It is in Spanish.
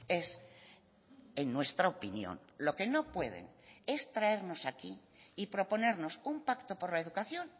es en nuestra opinión lo que no pueden es traernos aquí y proponernos un pacto por la educación